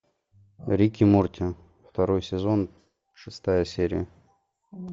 рик и морти второй сезон шестая серия